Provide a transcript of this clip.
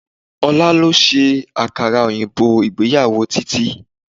Ọlá ló ṣe àkàrà òyìnbó ìgbéyàwó Titi